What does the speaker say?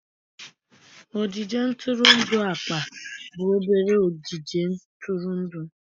Ogige ntụrụndụ akpa bụ obere ogige ntụrụndụ.